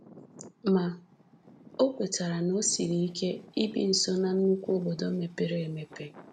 Ma, o kwetara na o siri ike ibi nso ná nnukwu obodo mepere emepe.